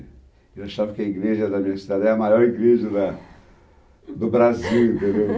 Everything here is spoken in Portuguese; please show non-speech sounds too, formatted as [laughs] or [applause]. Eu achava que a igreja da minha cidade era a maior igreja da do Brasil, entendeu? [laughs]